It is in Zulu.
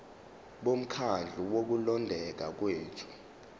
bomkhandlu wokulondeka kwethu